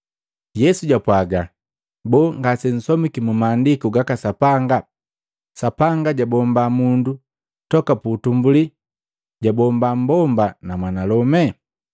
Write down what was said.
Yesu jwapwaga, “Boo, ngase nsomiki mu Maandiku gaka Sapanga, Sapanga jojabomba mundu toka putumbuli, jabomba mmbomba na mwanalome?